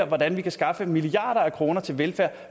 hvordan vi kan skaffe milliarder af kroner til velfærd